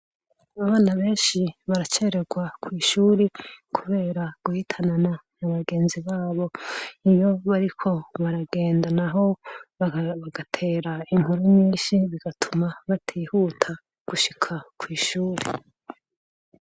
Abana benshi baracererwa kw'ishure kubera guhitanana na bagenzi babo. Iyo bariko baragendana naho bagatera inkuru nyinshi, bigatuma batihuta gushika kw'ishure.